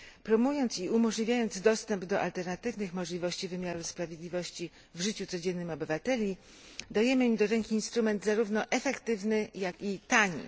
Promując i umożliwiając dostęp do alternatywnych możliwości wymiaru sprawiedliwości w życiu codziennym obywateli, dajemy im do rąk instrument zarówno efektywny, jak i tani.